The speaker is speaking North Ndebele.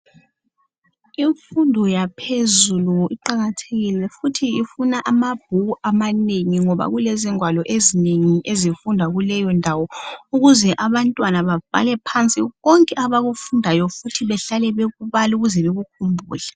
Imfundo yaphezu iqakathekile njalo ifuna izigwalo ezinengi ngoba abafundi kumele babhale phansi konke abakufundayo njalo behlale bekubala ukuze bakukhumbule.